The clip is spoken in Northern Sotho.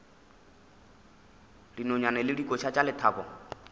dinonyane le dikoša tša lethabo